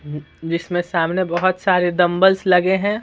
जिसमें सामने बहुत सारे दंबल्स लगे हैं।